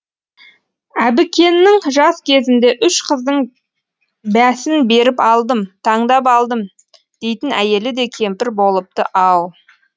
әбікеннің жас кезінде үш қыздың бәсін беріп алдым таңдап алдым дейтін әйелі де кемпір болыпты ау